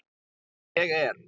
Ég er.